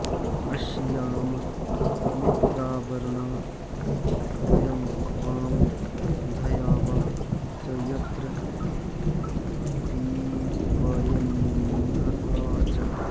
अश्याम मित्रावरुणा वयं वां द्यावा च यत्र पीपयन्नहा च